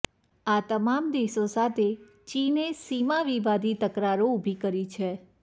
આ તમામ દેશો સાથે ચીને સીમા વિવાદી તકરારો ઊભી કરી છે